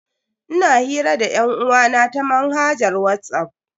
Ina hira da yan'uwa na ta manhajar Whatsapp.